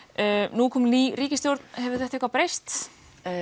nú er komin ný ríkisstjórn hefur þetta eitthvað breyst já